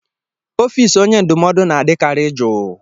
Ọfịs onye ndụmọdụ na-adịkarị jụụ.